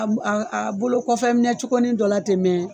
A bo a a a bolo kɔfɛ minɛ cogonin dɔ la ten mɛ